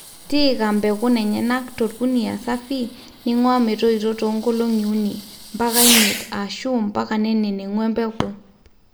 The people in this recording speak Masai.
tiika mbekun enyena tolkunia safi ninguaa metoito too nkoloki uni ,mpaka imiet ashu mpaka nenengu embeku